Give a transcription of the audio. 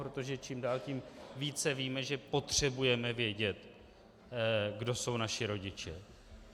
Protože čím dál tím více víme, že potřebujeme vědět, kdo jsou naši rodiče.